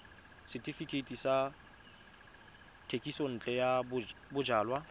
setefikeiti sa thekisontle ya bojalwa